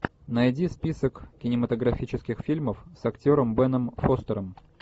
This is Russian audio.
найди список кинематографических фильмов с актером беном фостером